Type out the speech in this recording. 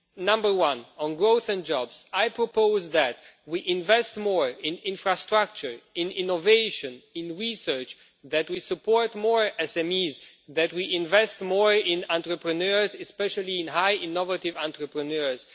Number one on growth and jobs, I propose that we invest more in infrastructure, innovation and research, that we support more SMEs, and that we invest more in entrepreneurs, especially highly innovative entrepreneurs.